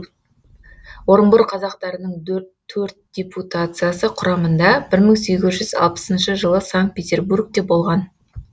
орынбор қазақтарының төрт депутациясы құрамында бір мың сегіз жүз алпысыншы жылы санкт петербургте болған